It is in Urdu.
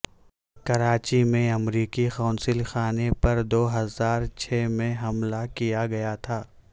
کراچی میں امریکی قونصل خانے پر دو ہزار چھ میں حملہ کیا گیا تھا